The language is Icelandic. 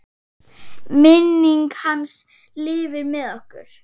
Minning hans lifir með okkur.